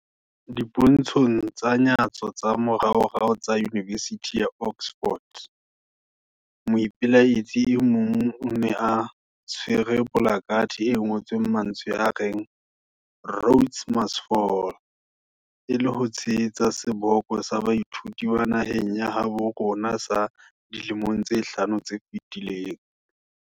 Dipontshong tsa nyatso tsa moraorao tsa yunivesithi ya Oxford, moipelaetsi e mong o ne a tshwere polakathe e ngotsweng mantswe a reng Rhodes must Fall, e le ho tshehetsa seboko sa baithuti ba naheng ya habo rona sa dilemong tse hlano tse fetileng.